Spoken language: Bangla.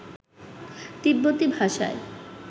তিব্বতী ভাষায়